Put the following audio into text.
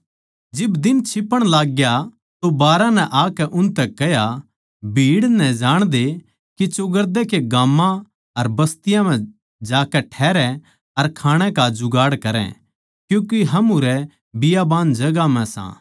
जिब दिन छिपण लाग्या तो बारहां नै आकै उसतै कह्या भीड़ नै जाणदे के चौगरदे के गाम्मां अर बस्तियाँ म्ह जाकै ठहरै अर खाणै का जुगाड़ करै क्यूँके हम उरै बियाबान जगहां म्ह सां